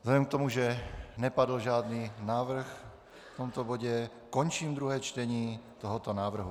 Vzhledem k tomu, že nepadl žádný návrh v tomto bodě, končím druhé čtení tohoto návrhu.